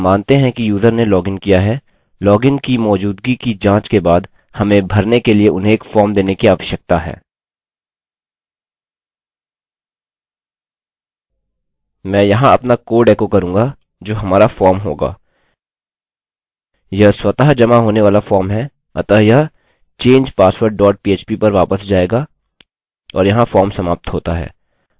मैं यहाँ अपना कोड एको करूँगा जो हमारा फॉर्म होगा यह स्वतः जमा होने वाला फॉर्म है अतः यह change password dot php पर वापस जायेगा और यहाँ फार्म समाप्त होता है